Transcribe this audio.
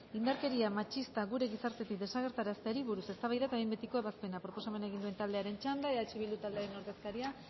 indarkeria matxista gure gizartetik desagerrarazteari buruz eztabaida eta behin betiko ebazpena proposamena egin duen taldearen txanda eh bildu taldearen ordezkaria